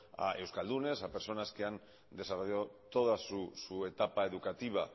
a euskaldunes a personas que han desarrollado toda su etapa educativa